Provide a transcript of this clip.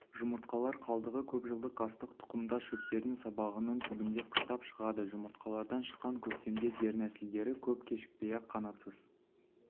жұмыртқалар қалдығы көп жылдық астық тұқымдас шөптердің сабағының түбінде қыстап шығады жұмыртқалардан шыққан көктемде дернәсілдері көп кешікпей-ақ қанатсыз